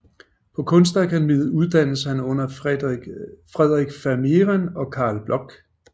På Kunstakademiet uddannedes han under Frederik Vermehren og Carl Bloch